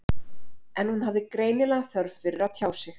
En hún hafði greinilega þörf fyrir að tjá sig.